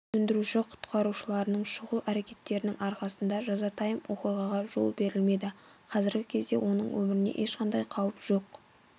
сөндіруші-құтқарушыларының шұғыл әрекетінің арқасында жазатайым оқиғаға жол берілмеді қазіргі кезде оның өміріне ешқандай қауіп жоқ